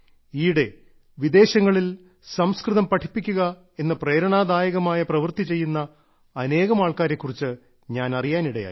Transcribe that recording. ഈയിടെ വിദേശങ്ങളിൽ സംസ്കൃതം പഠിപ്പിക്കുക എന്ന പ്രേരണാദായകമായ പ്രവൃത്തി ചെയ്യുന്ന അനേകം ആൾക്കാരെ കുറിച്ച് ഞാൻ അറിയാൻ ഇടയായി